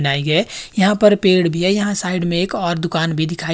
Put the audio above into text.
नाई है यहां पर पेड़ भी है यहां साइड में एक और दुकान भी दिखाई--